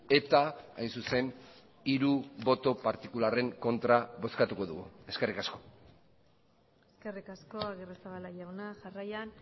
eta hain zuzen hiru boto partikularren kontra bozkatuko dugu eskerrik asko eskerrik asko agirrezabala jauna jarraian